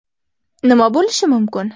Nima bo‘lishi mumkin?